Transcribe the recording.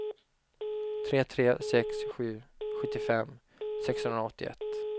tre tre sex sju sjuttiofem sexhundraåttioett